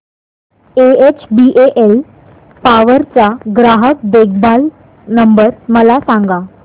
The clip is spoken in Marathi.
एचबीएल पॉवर चा ग्राहक देखभाल नंबर मला सांगा